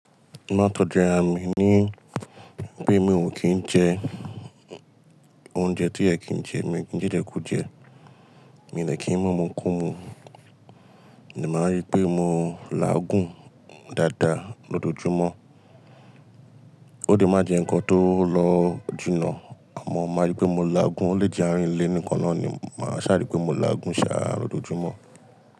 Mo má n tó ju àra mi ní pé mi ò kín jẹ oúnjẹ tí o yẹ kin jẹ, mi ò kín jẹ ijẹ̀ kú jẹ, mi ò dẹ kí ń mú imu kú mu, mo dẹ máa rí pé mo láàgún dáadáa lójoójúmọ́. Ó lè má jẹ nǹkan tó lọ jìnà àmọ́ máa rí pé mo lágún, o lè jẹ àárín ilé nìkan náà ni màá ṣàrí pé mo lágún ṣàá lójoójúmọ́.